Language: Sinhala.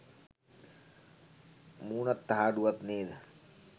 මූනත් තහඩුවත් නේද.